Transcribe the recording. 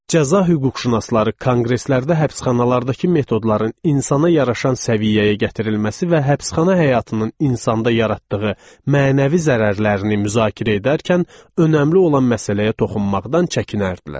Cəza hüquqşünasları konqreslərdə həbsxanalardakı metodların insana yaraşan səviyyəyə gətirilməsi və həbsxana həyatının insanda yaratdığı mənəvi zərərlərini müzakirə edərkən önəmli olan məsələyə toxunmaqdan çəkinərdilər.